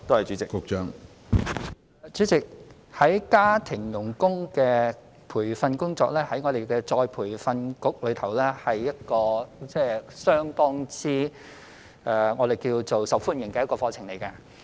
主席，有關家庭傭工的培訓工作，在僱員再培訓局是一個相當受歡迎的課程。